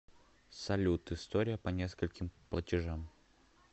салют история по нескольким платежам